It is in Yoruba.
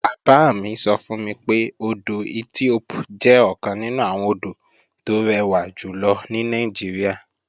Bàbá mi sọ fún mi pé, odò Ethiope jẹ́ ọ̀kan nínú àwọn odò tó rẹwà jùlọ ní Nàìjíríà